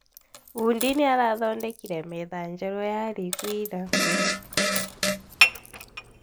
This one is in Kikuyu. Bundi nĩarathondekire metha njerũ ya riko ira